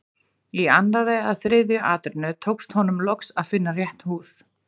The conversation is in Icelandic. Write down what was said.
Í annarri eða þriðju atrennu tókst honum loks að finna rétt hús.